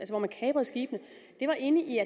hvor man kaprede skibene inde i